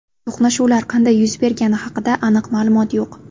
To‘qnashuvlar qanday yuz bergani haqida aniq ma’lumot yo‘q.